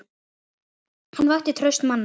Hann vakti traust manna.